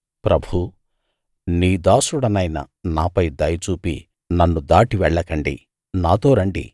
ప్రభూ నీ దాసుడనైన నాపై దయ చూపి నన్ను దాటి వెళ్ళకండి నాతో రండి